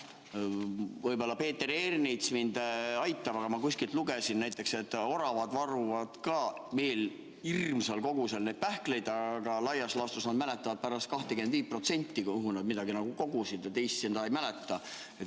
Võib-olla Peeter Ernits aitab mind, aga ma kuskilt lugesin, et oravad varuvad ka hirmsas koguses pähkleid, aga laias laastus nad mäletavad pärast 25%, kuhu nad midagi kogusid, ja teisi ei mäleta.